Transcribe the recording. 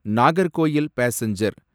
Nagercoil passenger